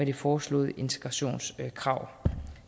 det foreslåede integrationskrav